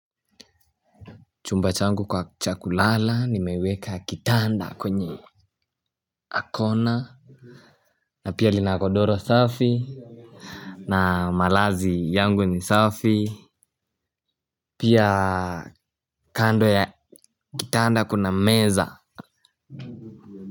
Chumba changu kwa cha kulala nimeweka kitanda kwenye Akona. Na pia lina godoro safi. Na malazi yangu ni safi. Pia kando ya kitanda kuna meza.